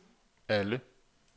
alle